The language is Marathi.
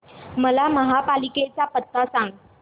मला महापालिकेचा पत्ता सांग